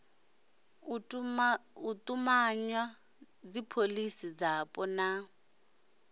u tumanywa dzipholisi dzapo na